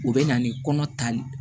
U bɛ na ni kɔnɔ tali ye